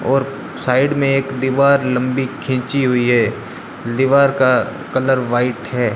और साइड में एक दीवार लंबी खिंची हुई है दीवार का कलर व्हाइट है।